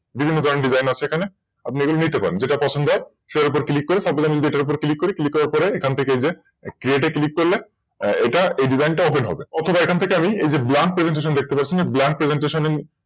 বিভিন্ন ধরনের Design আছে এখানে আপনি এগুলো নিতে পারেন। সেটার উপর Click করে Supose আমি যদি এটার উপর Click করি Click করার পরে এখান থেকে এই যে এই যে এটা Click করলাম এটা এই Desing টা Open হবে Open হয়ে এই যে এখান থেকে আমরা BlankPresentation দেখতে পাচ্ছ BlankPresentation